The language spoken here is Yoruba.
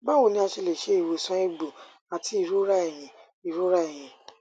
bawo ni a se le se iwosan egbo ati irora eyin irora eyin